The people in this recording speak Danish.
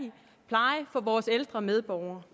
og give vores ældre medborgere